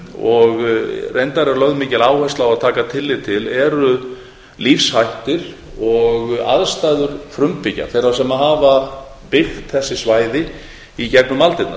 og reyndar er lögð mikil áhersla á að taka tillit til eru lífshættir og aðstæður frumbyggja þeirra sem hafa byggt þessi svæði í gegnum aldirnar